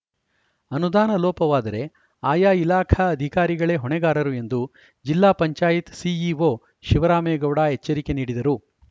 ಅನುದಾನ ಲೋಪವಾದರೆ ಆಯಾ ಇಲಾಖಾ ಅಧಿಕಾರಿಗಳೇ ಹೊಣೆಗಾರರು ಎಂದು ಜಿಲ್ಲಾ ಪಂಚಾಯತ್ ಸಿಇಒ ಶೀವರಾಮೇಗೌಡ ಎಚ್ಚರಿಕೆ ನೀಡಿದರು